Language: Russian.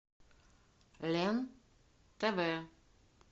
лен тв